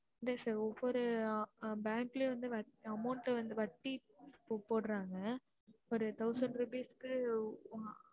இல்ல sir ஒவ்வொரு அஹ் bank லையும் வந்து வட்டி amount டு வந்து வட்டி போடுறாங்க இப்ப thousand rupees கு